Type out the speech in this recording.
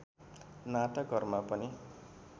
नाटकहरूमा पनि